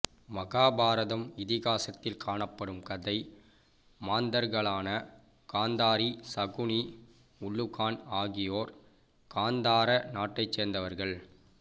மகாபாரதம் இதிகாசத்தில் காணப்படும் கதை மாந்தர்களான காந்தாரி சகுனி உல்லூகன் ஆகியோர் காந்தார நாட்டைச் சேர்ந்தவர்கள்